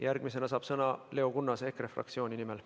Järgmisena saab sõna Leo Kunnas EKRE fraktsiooni nimel.